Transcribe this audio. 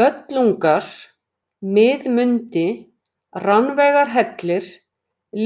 Böllungar, Miðmundi, Rannveigarhellir,